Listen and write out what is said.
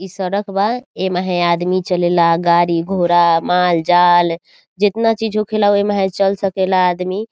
ई सड़क बा ए महे आदमी चलेला गाड़ी घोड़ा माल-जाल जेतना चीज़ होखेला ओहि महे चल सकेला आदमी।